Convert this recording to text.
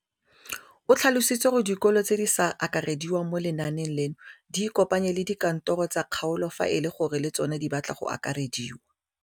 O tlhalositse gore dikolo tse di sa akarediwang mo lenaaneng leno di ikopanye le dikantoro tsa kgaolo fa e le gore le tsona di batla go akarediwa.